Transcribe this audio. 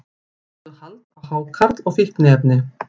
Lögðu hald á hákarl og fíkniefni